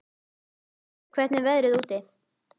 Brynný, hvernig er veðrið úti?